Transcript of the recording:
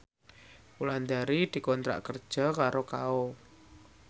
Wulandari dikontrak kerja karo Kao